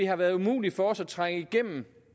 har været umuligt for os at trænge igennem